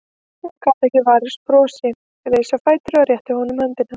Hún gat ekki varist brosi, reis á fætur og rétti honum höndina.